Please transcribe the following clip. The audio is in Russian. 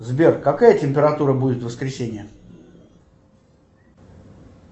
сбер какая температура будет в воскресенье